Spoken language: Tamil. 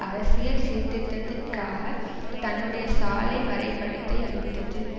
அரசியல் சீர்திருத்தத்திற்காக தன்னுடைய சாலை வரைபடத்தை அளித்தது